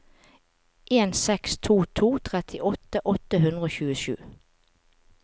en seks to to trettiåtte åtte hundre og tjuesju